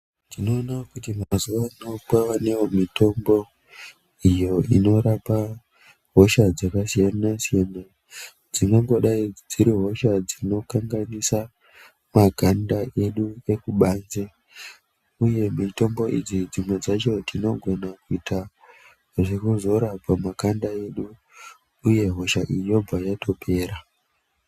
Tinoona kuti mazuwa ano kwawanewo mutombo iyo iyo inorapa hosha dzakasiyana siyana dzingangidai dziri hosha dzinokanganisa makanda edu ekubanze uye mitombo idzi dzimwe dzavho tinogona kuita zvekuzora pamakanda edu uye hosha iyi yobva yatopera.